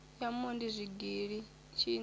ya mondi zwigili tshinda na